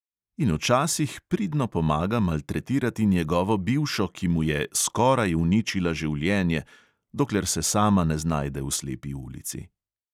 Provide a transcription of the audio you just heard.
In včasih pridno pomaga maltretirati njegovo bivšo, ki mu je "skoraj uničila življenje", dokler se sama ne znajde v slepi ulici.